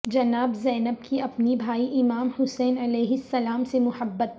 جناب زینب کی اپنے بھائی امام حسین علیہ السلام سے محبت